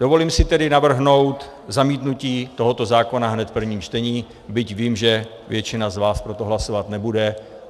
Dovolím si tedy navrhnout zamítnutí tohoto zákona hned v prvním čtení, byť vím, že většina z vás pro to hlasovat nebude.